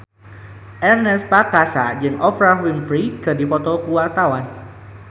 Ernest Prakasa jeung Oprah Winfrey keur dipoto ku wartawan